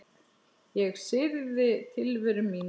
Ég syrgði tilveru mína.